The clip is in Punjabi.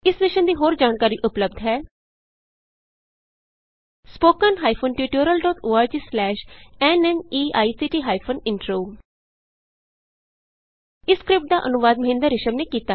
ਇਸ ਮਿਸ਼ਨ ਦੀ ਹੋਰ ਜਾਣਕਾਰੀ ਉਪਲੱਭਦ ਹੈ spoken hyphen tutorial dot org slash ਨਮੈਕਟ ਹਾਈਫਨ ਇੰਟਰੋ ਇਸ ਸਕਰਿਪਟ ਦਾ ਅਨੁਵਾਦ ਮਹਿੰਦਰ ਰਿਸ਼ਮ ਨੇ ਕੀਤਾ ਹੈ